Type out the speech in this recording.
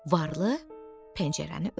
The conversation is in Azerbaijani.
Varlı pəncərəni örtdü.